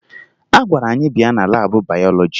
A gwara anyị bịa na laabụ bayọlọji